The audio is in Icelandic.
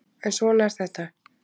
En svona er þetta